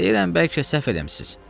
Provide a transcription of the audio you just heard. Deyirəm bəlkə səhv eləmisiniz.